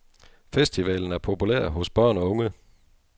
Festivalen er populær hos børn og unge.